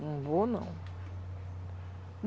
Não vou, não.